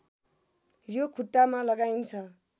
यो खुट्टामा लगाइन्छ